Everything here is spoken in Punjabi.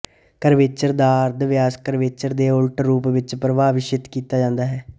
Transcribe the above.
ਕਰਵੇਚਰ ਦਾ ਅਰਧ ਵਿਆਸ ਕਰਵੇਚਰ ਦੇ ਉਲਟ ਰੂਪ ਵਿੱਚ ਪਰਿਭਾਸ਼ਿਤ ਕੀਤਾ ਜਾਂਦਾ ਹੈ